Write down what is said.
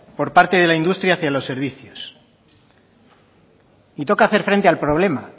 por parte de la industria hacia los servicios y toca hacer frente al problema